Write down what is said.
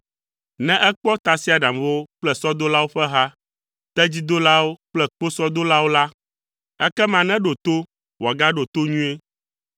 Ne ekpɔ tasiaɖamwo kple sɔdolawo ƒe hã, tedzidolawo kple kposɔdolawo la, ekema neɖo to, wòagaɖo to nyuie.”